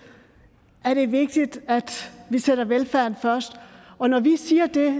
er det vigtigt at vi sætter velfærden først og når vi siger det